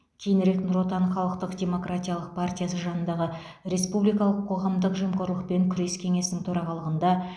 кейінірек нұр отан халықтық демократиялық партиясы жанындағы республикалық қоғамдық жемқорлықпен күрес кеңесінің төрағалығында